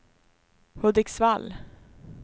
Hudiksvall